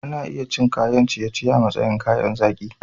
Ana iya cin kayan ciye-ciye a matsayin kayan zaki.